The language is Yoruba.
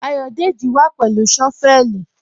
Ayọ̀dẹ́jì wà pẹ̀lú shọ́vẹ̀lì.